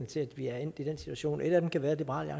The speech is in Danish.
til at vi er endt i den situation et af dem kan være at liberal